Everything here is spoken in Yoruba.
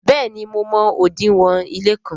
béèni mo mọ odinwo ile kán.